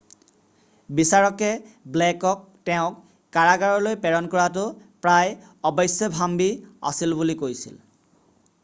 বিচাৰকে ব্লেকক তেওঁক কাৰাগাৰলৈ প্ৰেৰণ কৰাটো প্ৰায় অৱশ্যভাম্বী আছিল বুলি কৈছিল